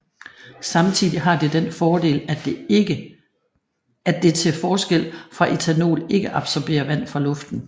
Samtidig har det den fordel at det til forskel fra ethanol ikke absorberer vand fra luften